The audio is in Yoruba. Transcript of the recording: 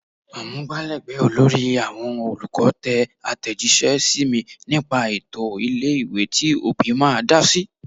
Amugbalegbe olórí àwọn olùkọ́ tẹ atejise sí mi nípa ètò ilé-ìwé tí òbí máa dá sí.